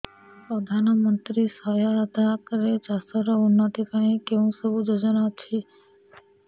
ପ୍ରଧାନମନ୍ତ୍ରୀ ସହାୟତା ରେ ଚାଷ ର ଉନ୍ନତି ପାଇଁ କେଉଁ ସବୁ ଯୋଜନା ଅଛି